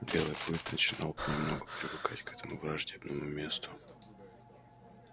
белый клык начинал понемногу привыкать к этому враждебному месту